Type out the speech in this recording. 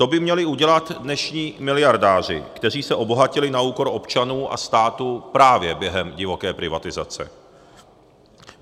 To by měli udělat dnešní miliardáři, kteří se obohatili na úkor občanů a státu právě během divoké privatizace.